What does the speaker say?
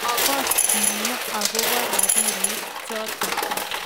Makoschinio akobo robinik choto